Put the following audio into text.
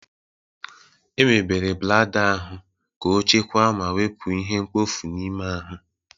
Emebere blada ahụ ka ọchekwaa ma wepụ ihe mkpofu n'ime ahụ.